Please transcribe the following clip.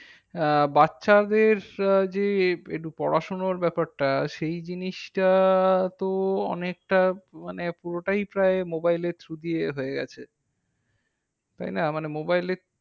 আহ বাচ্চাদের আহ যে পড়াশোনার ব্যাপারটা সেই জিনিসটা তো অনেকটা মানে পুরোটাই প্রায় mobile এর through দিয়ে হয়ে গেছে। তাইনা? মানে mobile